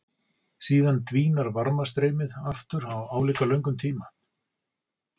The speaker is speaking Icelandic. Síðan dvínar varmastreymið aftur á álíka löngum tíma.